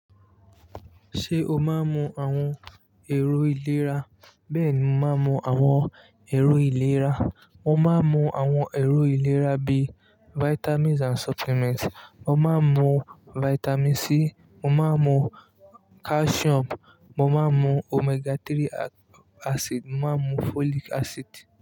Ṣé o má ń mú àwọn èrò ìlera? Bẹ́ẹ̀ni, mo máa ń mú àwọn èrò ìlera. Mo má ń mú àwọn èrò ìlera bí i vitamins and supplements. Mo má ń mu vitamin C, mo má ń mu calcium, mo má ń mu omega-3 acid, mo máa ń mu folic acid.